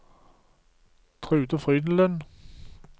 Trude Frydenlund